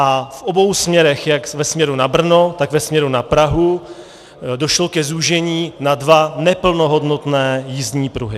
A v obou směrech, jak ve směru na Brno, tak ve směru na Prahu, došlo ke zúžení na dva neplnohodnotné jízdní pruhy.